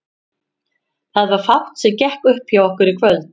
Það var fátt sem gekk upp hjá okkur í kvöld.